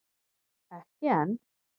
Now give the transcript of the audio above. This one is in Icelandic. Ekki enn